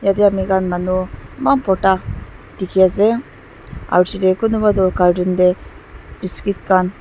Yate amikhan manu eman bhorta dekhi ase aro piche tey kunuba toh cartoon tey biscuit khan--